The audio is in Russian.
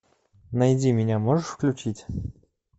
найди меня можешь включить